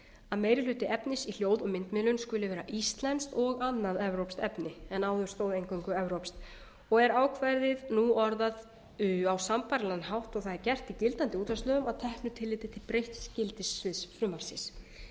að meiri hluti efnis í hljóð og myndmiðlun skuli vera íslenskt og annað evrópskt efni en áður stóð eingöngu evrópskt og er ákvæðið nú orðað á sambærilegan hátt og það er gert í gildandi útvarpslögum að teknu tillit til breytts gildissviðs frumvarpsins